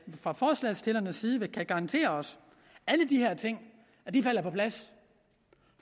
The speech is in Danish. fra forslagsstillernes side kan garantere os at alle de her ting falder på plads